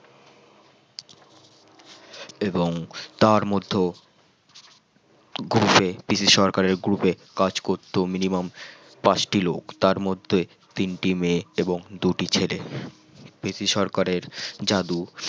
এবং তার মধ্যেও group এ পিসি সরকারের group এ কাজ করতো minimum পাঁচটি লোক তার তার মধ্যে তিনটি মেয়ে এবং দুটি ছেলে পিসি সরকারের জাদু